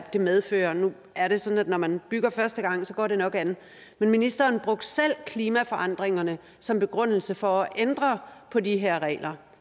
det medfører nu er det sådan at når man bygger første gang går det nok an men ministeren brugte selv klimaforandringerne som begrundelse for at ændre på de her regler